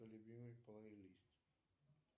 любимый плейлист